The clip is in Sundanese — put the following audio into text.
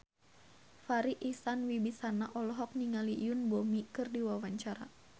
Farri Icksan Wibisana olohok ningali Yoon Bomi keur diwawancara